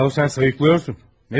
Ayə sən sayıqlayırsan.